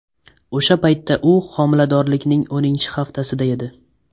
O‘sha paytda u homiladorlikning o‘ninchi haftasida edi.